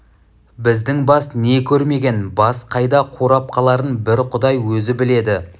біздің бас не көрмеген бас қайда қурап қаларын бір құдай өзі біледі